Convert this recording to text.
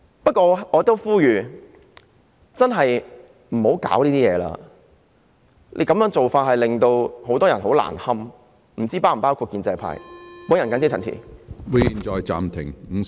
不過，我想呼籲大家不要再搞事了，這樣做只會令很多人難堪，我也不知道建制派是否包括在內。